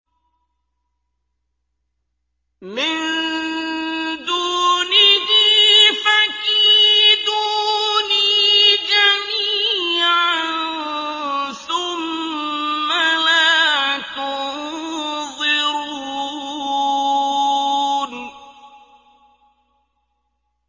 مِن دُونِهِ ۖ فَكِيدُونِي جَمِيعًا ثُمَّ لَا تُنظِرُونِ